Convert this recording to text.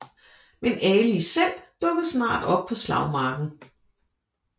Men Ali selv dukkede snart op på slagmarken